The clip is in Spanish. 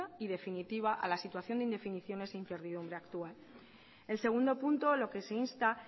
y definitiva a la situación de indefiniciones e incertidumbre actual el segundo punto lo que se insta